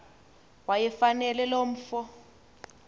wayefanele lo mfo